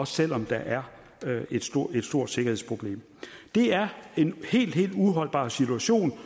selv om der er et stort sikkerhedsproblem det er en helt helt uholdbar situation og